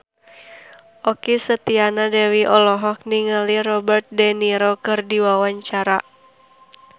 Okky Setiana Dewi olohok ningali Robert de Niro keur diwawancara